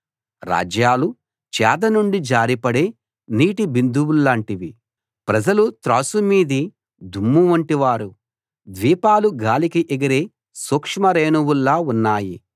రాజ్యాలు చేద నుండి జారిపడే నీటి బిందువుల్లాంటివి ప్రజలు త్రాసు మీది దుమ్మువంటివారు ద్వీపాలు గాలికి ఎగిరే సూక్ష్మ రేణువుల్లా ఉన్నాయి